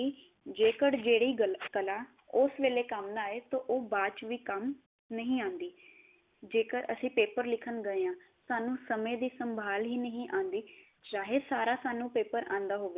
ਜੇਕੜ ਜੇਹੜੀ ਗੱਲ ਕਲਾਂ ਉਸ ਵੇਲੇ ਕੰਮ ਨਾ ਆਏ ਤੋਂ ਉਹ ਬਾਅਦ ਚੇ ਵੀ ਕੰਮ ਨਹੀ ਆਉਂਦੀ। ਜੇਕਰ ਅਸੀਂ ਪੈਪਰ ਲਿਖਣ ਗਏ ਆ ਸਾਨੂੰ ਸਮੇ ਦੀ ਸੰਭਾਲ ਹੀ ਨਹੀ ਆਉਂਦੀ ਚਾਹੇ ਸਾਰਾ ਸਾਨੂੰ ਪੈਪਰ ਆਉਂਦਾ ਹੋਵੇ।